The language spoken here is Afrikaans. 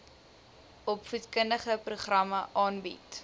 opvoedkundige programme aanbied